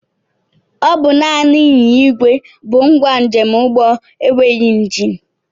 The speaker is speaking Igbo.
Ọ bụ naanị ịnyịnya ìgwè bụ ngwa njemụgbọ enweghị njini